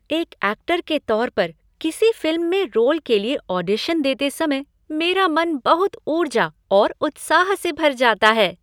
एक ऐक्टर के तौर पर, किसी फ़िल्म में रोल के लिए ऑडिशन देते समय मेरा मन बहुत ऊर्जा और उत्साह से भर जाता है।